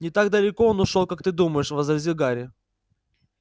не так далеко он ушёл как ты думаешь возразил гарри